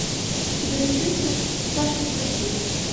у тебя найдется страшно красив